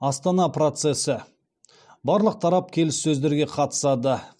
астана процесі барлық тарап келіссөздерге қатысады